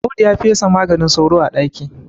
Audu ya fesa maganin sauro a ɗaki